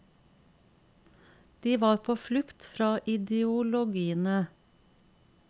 De var på flukt fra ideologiene.